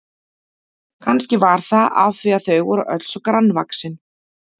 Kannski var það af því að þau voru öll svo grannvaxin.